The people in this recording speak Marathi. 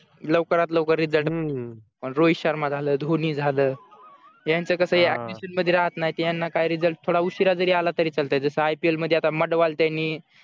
लवकरात लवकर result पण रोहित शर्मा झालं धोनी झालं यांचं कसंये मध्ये राहत नाहीत यांना काय result थोडा उशिरा जरी आला तरी चालतंय जसं ipl मध्ये आता त्यांनी